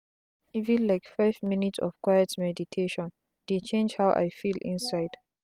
even like five minutes of quiet meditation dey change how i feel inside.